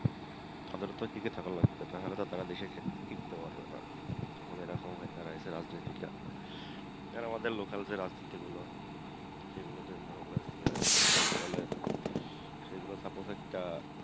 তাদের তো টিকে থাকা লাগবে না হলে তো সারা দেশে সে টিকতে পারবে না এখন এরকম হয়েছে দেশের রাজনীতিটা আর আমাদের local যে রাজনীতি গুলো সেগুলো main college সেগুলো suppose একটা